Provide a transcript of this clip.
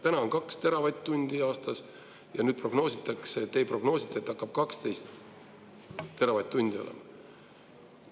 Täna on 2 teravatt-tundi aastas ja nüüd te prognoosite, et hakkab 12 teravatt-tundi olema.